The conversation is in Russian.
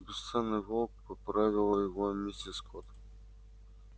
бесценный волк поправила его миссис скотт